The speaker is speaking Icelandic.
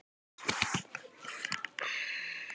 Pétur og félagar mæta.